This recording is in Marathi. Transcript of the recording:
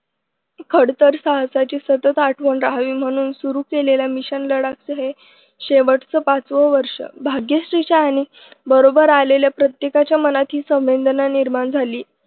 खडतर साहसाची सतत आठवण राहावी म्हणून सुरु केलेल्या मिशन लढाक च हे शेवटचं पाचवं वर्ष भाग्यश्रीच्या आणि बरोबर आलेल्या प्रत्येकाच्या मनात ही संवेदना निर्माण झाली.